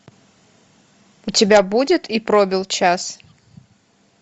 у тебя будет и пробил час